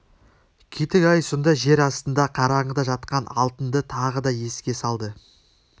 кетік ай сонда жер астында қараңғыда жатқан алтынды тағы да еске салды